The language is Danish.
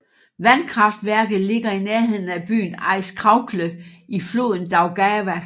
Vandkraftværket ligger i nærheden af byen Aizkraukle i floden Daugava